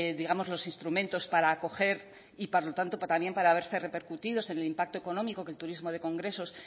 digamos los instrumentos para acoger y por lo tanto también para verse repercutidos en el impacto económico que el turismo de congresos